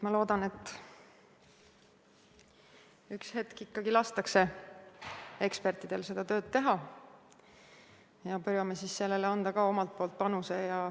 Ma loodan, et ükskord ikkagi lastakse ekspertidel tööd teha ja püüame sellesse anda ka oma panuse.